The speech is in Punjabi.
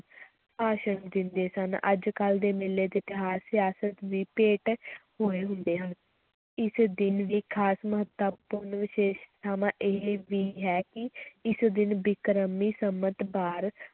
ਭਾਸ਼ਣ ਦਿੰਦੇ ਸਨ, ਅੱਜ-ਕੱਲ੍ਹ ਦੇ ਮੇਲੇ ਤੇ ਤਿਉਹਾਰ ਸਿਆਸਤ ਦੀ ਭੇਟ ਹੋਏ ਹੁੰਦੇ ਹਨ, ਇਸ ਦਿਨ ਦੀ ਖ਼ਾਸ ਮਹੱਤਤਾ ਇਹ ਵੀ ਹੈ ਕਿ ਇਸ ਦਿਨ ਬਿਕਰਮੀ ਸੰਮਤ ਬਾਰ